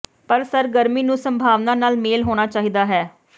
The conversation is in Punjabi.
ਪਰ ਸਰਗਰਮੀ ਨੂੰ ਸੰਭਾਵਨਾ ਨਾਲ ਮੇਲ ਹੋਣਾ ਚਾਹੀਦਾ ਹੈ